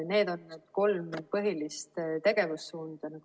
Need on kolm põhilist tegevussuunda.